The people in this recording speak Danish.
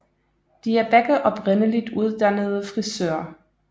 De er begge oprindeligt uddannede frisører